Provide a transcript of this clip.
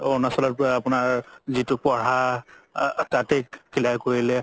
অৰুণাচলৰ পৰা যিতো পঢ়া তাতে clear কৰিলে